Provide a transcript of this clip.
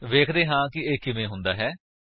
ਵੇਖਦੇ ਹਾਂ ਇਹ ਕਿਵੇਂ ਹੁੰਦਾ ਹੈ